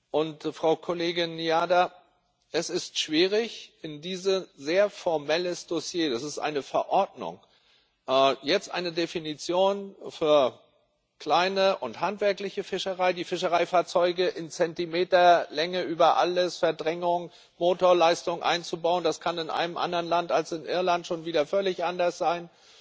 Und Frau Kollegin Ní Riada, es ist schwierig, in dieses sehr formelle Dossier es ist eine Verordnung jetzt eine Definition für kleine und handwerkliche Fischerei, die Fischereifahrzeuge in Zentimeter Länge über alles, Verdrängung und Motorleistung, einzubauen das kann in einem anderen Land als in Irland schon wieder völlig anders sein